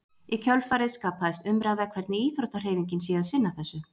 Í kjölfarið skapaðist umræða hvernig íþróttahreyfingin sé að sinna þessu.